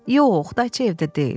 Yox, Dayçayev deyil.